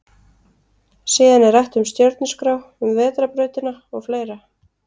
Síðan er rætt um stjörnuskrá, um vetrarbrautina og fleira.